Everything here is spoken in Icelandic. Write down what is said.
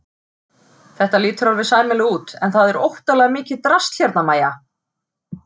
Þetta lítur alveg sæmilega út en það er óttalega mikið drasl hérna MÆJA!